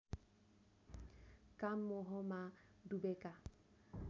काम मोहमा डुबेका